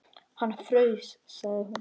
Hann fraus, sagði hún.